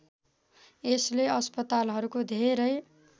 यसले अस्पतालाहरूको धेरै